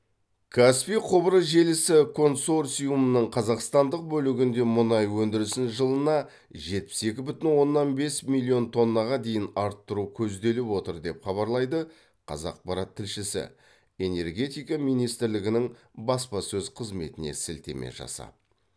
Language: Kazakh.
каспий құбыр желісі концорциумының қазақстандық бөлігінде мұнай өндірісін жылына жетпіс екі бүтін оннан бес миллион тоннаға дейін арттыру көзделіп отыр деп хабарлайды қазақпарат тілшісі энергетика министрлігінің баспасөз қызметіне сілтеме жасап